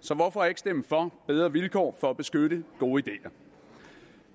så hvorfor ikke stemme for bedre vilkår for at beskytte gode ideer